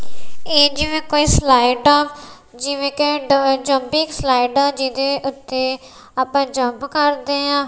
ਇਹ ਜਿਵੇਂ ਕੋਈ ਸਲਾਈਟ ਆ ਜਿਵੇਂ ਕੇਂਟ ਵਿਚ ਜੁੰਪਿੰਗ ਸਲਾਈਡ ਆ ਜਿਦੇ ਉਤੇ ਆਪਾ ਜੁੰਪ ਕਰਦੇ ਆ।